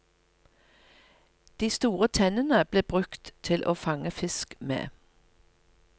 De store tennene ble brukt til å fange fiske med.